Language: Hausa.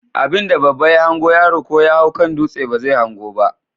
Abinda babba ya hango yaro ko yahau kan dutse bazai hango ba?